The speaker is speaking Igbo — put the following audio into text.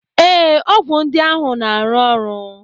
Ee, ọgwụ ndị ahụ na aru oru